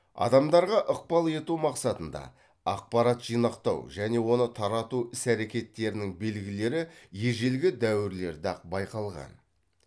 адамдарға ықпал ету мақсатында ақпарат жинақтау және оны тарату іс әрекеттерінің белгілері ежелгі дәуірлерде ақ байқалған